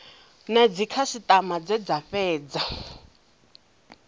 na dzikhasitama dze dza fhedza